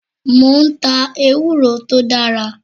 Mo ń ta ewúro tó dára.